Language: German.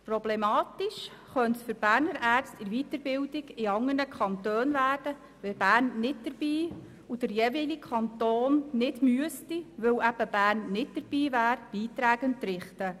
Problematisch könnte es für Berner Ärzte in der Weiterbildung in anderen Kantonen werden, wenn Bern nicht dabei wäre und der jeweilige Kanton deshalb keine Beiträge entrichten müsste.